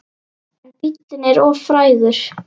En bíllinn er of frægur.